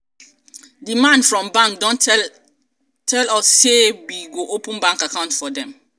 di man from bank don tell as we go take open account for dem bank.